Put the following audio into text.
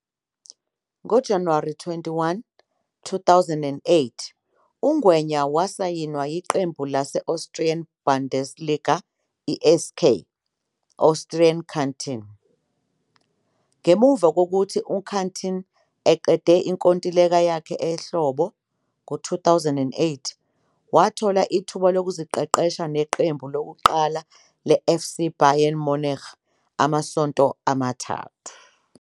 NgoJanuwari 21, 2008,uNgwenya wasayinwa yiqembu lase-Austrian Bundesliga i-SK Austria Kärnten. Ngemuva kokuthi uKärnten eqede inkontileka yakhe ehlobo ngo-2008 wathola ithuba lokuziqeqesha neqembu lokuqala leFC Bayern Munich amasonto amathathu.